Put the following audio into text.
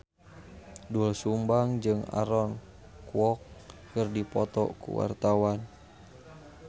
Doel Sumbang jeung Aaron Kwok keur dipoto ku wartawan